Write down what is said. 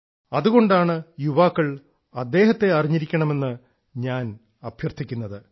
അതുകൊണ്ടാണ് യുവാക്കൾ അദ്ദേഹത്തെ അറിഞ്ഞിരിക്കണം എന്ന് ഞാൻ അഭ്യർത്ഥിക്കുന്നത്